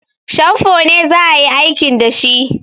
Shamfo ne za a yi aikin da shi